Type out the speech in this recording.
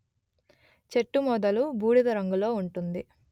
చెట్టు మొదలు బూడిద రంగులో ఉంటుంది